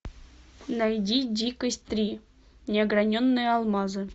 найди дикость три неограненные алмазы